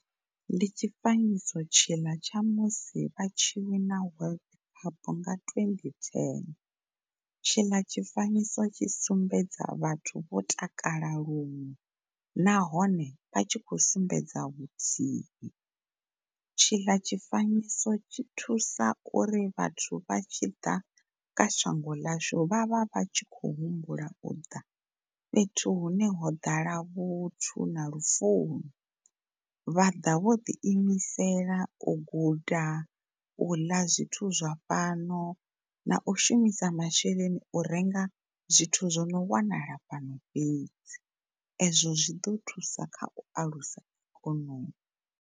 Ndi tshifanyiso tshiḽa tsha musi a tshi wins World Cup nga twenty ten tshila tshifanyiso tshi sumbedza vhathu vho takala luṅwe nahone vha tshi khou sumbedza vhuthii. Tshi ḽa tshifanyiso tshi thusa uri vhathu vha tshi ḓa kha shango ḽashu vha vha vhatshi khou humbula u ḓa fhethu hune ho ḓala vhuthu na lufuno. Vha ḓa vho ḓi imisela u guda, u ḽa zwithu zwa fhano na u shumisa masheleni u renga zwithu zwono wanala fhano fhedzi ezwo zwi ḓo thusa kha u a ikhonomi.